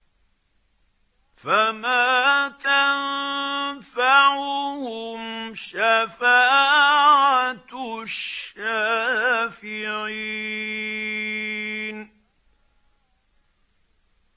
فَمَا تَنفَعُهُمْ شَفَاعَةُ الشَّافِعِينَ